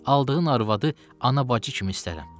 Aldığım arvadı ana-bacı kimi istərəm.